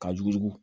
Ka yugu